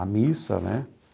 A missa, né?